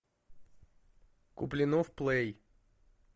куплинов плей